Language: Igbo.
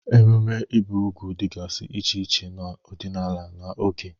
Ememe ibi úgwù dịgasị iche iche n'ọdịnala na oge.